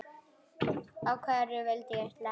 En hverju vildi ég sleppa?